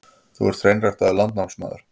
Þú ert hreinræktaður landnámsmaður.